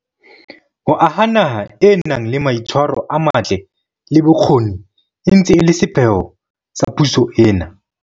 Ho aha naha e nang le mai tshwaro a matle, le bokgoni e ntse e le sepheo sa puso ena.